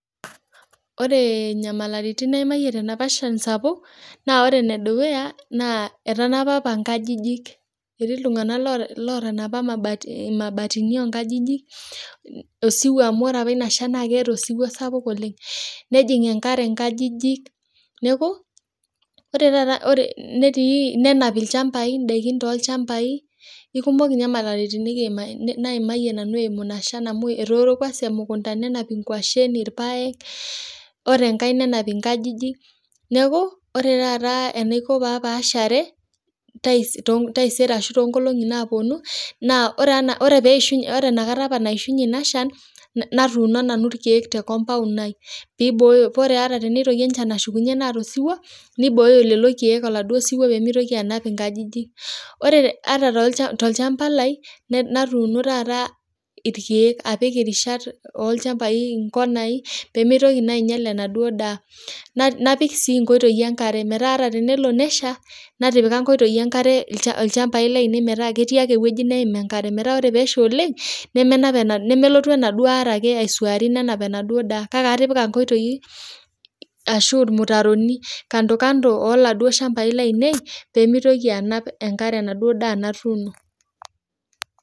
Oree inyamalaritin naimaiye te napa shan sapuk naa ore nedukuya, naa etanapa apa inkajijik, etii iltungana lootanapa mabaatini onkajijik osiwuo amu ore apa inashan naa keata esuwuo sapuk oleng, nejing enkare inkajijik, neaku ore taata netii nena ilchambai indaki too ilchambai, ekumok ninye inyamaliritin nikiimaiye, naimaiye nanu eimu ina shan amu etooro kwansa emukunta nenapa ingoshen, irpaek, ore inkae nenap inkajijik, neaku ore taata enaiko papaashare taisere ashu too enkolongi naaponu naa ore peishunye, ore inakata apa naishunye inashan natuuno nanu irkeek te kompaun aii peibooyo, pee ore ata teneitoki inshan ashukunye neata esuwuo neibooyo lelo irkeek eladuo siwuo pemeitoki anap inkajijik. Ore ata tp ilchamba lai natuuno taata irkeek apik rishat olchambai inkonai pemeitoki naa ainyal naduo daa, napik sii inkoitoi enkare metaa ata tenelo nesha natipika inkoitoi enkare ilchambai lainei metaa ketii ake eweji naim enkare, metaa ore peesha oleng nemelotu enaduo are ake aisuari nenap enaduo indaa kake atipika inkoitoi ashu irmutaroni lando kando oladuo irshambai lainei pemeitoki anap enkare naduo daa natuuno.